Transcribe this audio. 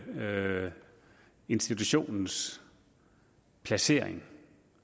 institutionens placering